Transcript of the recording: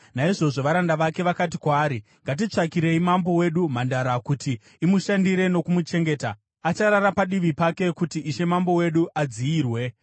Naizvozvo, varanda vake vakati kwaari, “Ngatitsvakirei mambo wedu mhandara kuti imushandire nokumuchengeta. Acharara padivi pake kuti ishe mambo wedu adziyirwe.”